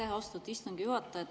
Aitäh, austatud istungi juhataja!